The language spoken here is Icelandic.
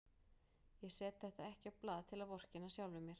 Ég set þetta ekki á blað til að vorkenna sjálfum mér.